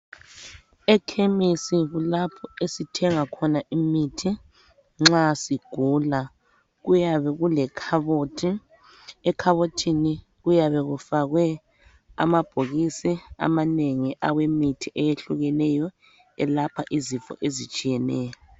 Ekhemesi kulapho esithenga khona imithi nxa sigula. Kuyabe kulekhabothi, ekhabothini kuyabe kufakwe amabhokisi amanengi awemithi eyehlukeneyo elapha izifo ezitshiyeneyo.